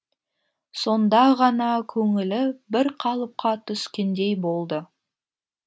сонда ғана көңілі бір қалыпқа түскендей болды